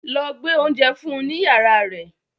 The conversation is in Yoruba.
Lọ gbé oúnjẹ fún un ní yàrá rẹ̀